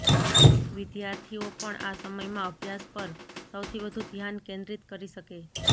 વિદ્યાર્થીઓ પણ આ સમયમાં અભ્યાસ પર સૌથી વધુ ધ્યાન કેન્દ્રિત કરી શકે